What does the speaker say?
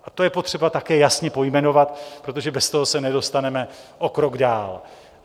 A to je potřeba také jasně pojmenovat, protože bez toho se nedostaneme o krok dál.